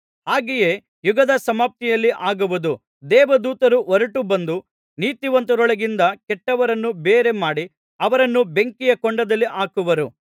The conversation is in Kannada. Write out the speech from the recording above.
ಹಾಗೆಯೇ ಯುಗದ ಸಮಾಪ್ತಿಯಲ್ಲಿ ಆಗುವುದು ದೇವದೂತರು ಹೊರಟು ಬಂದು ನೀತಿವಂತರೊಳಗಿಂದ ಕೆಟ್ಟವರನ್ನು ಬೇರೆ ಮಾಡಿ ಅವರನ್ನು ಬೆಂಕಿಯ ಕೊಂಡದಲ್ಲಿ ಹಾಕುವರು